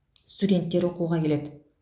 студенттер оқуға келеді